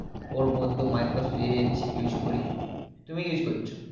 ওর মধ্যে micro edge use করি তুমি কি use করছো